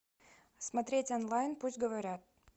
смотреть онлайн пусть говорят